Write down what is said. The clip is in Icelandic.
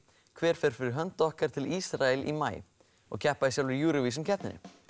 hver fer fyrir hönd okkar til Ísrael í maí og keppa í sjálfri Eurovision keppninni